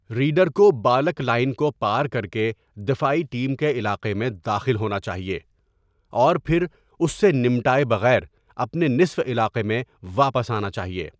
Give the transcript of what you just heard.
Reader کو baulk line کو پار کر کے دفاعی ٹیم کے علاقے میں داخل ہونا چاہیے، اور پھر اس سے نمٹائے بغیر اپنے نصف علاقے میں واپس آنا چاہیے۔